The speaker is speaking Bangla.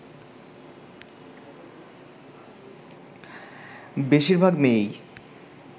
বেশির ভাগ মেয়েই